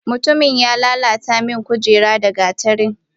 Mutumin ya lala ta min kujera da gatari.